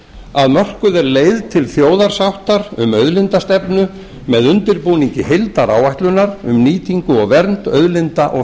að mörkuð er leið til þjóðarsáttar um auðlindastefnu með undirbúningi heildaráætlunar um nýtingu og vernd auðlinda og